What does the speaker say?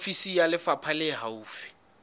ofisi ya lefapha le haufi